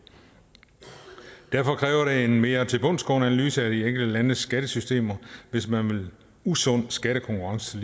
derfor kræver det en mere tilbundsgående analyse af de enkelte landes skattesystemer hvis man vil usund skattekonkurrence